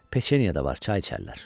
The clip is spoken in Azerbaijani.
Peçenya da var, çay içərlər.